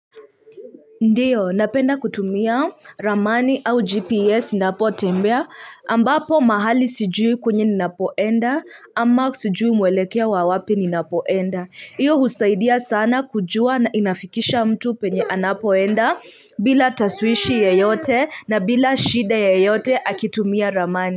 Ndiyo, napenda kutumia ramani au GPS ninapotembea ambapo mahali sijui kwenye ninapoenda ama sijui mwelekeo wa wapi ninapoenda. Hiyo husaidia sana kujua na inafikisha mtu penye anapoenda bila tashwishwi yoyote na bila shida yoyote akitumia ramani.